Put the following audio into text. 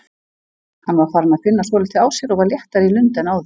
Hann var farinn að finna svolítið á sér og var léttari í lund en áður.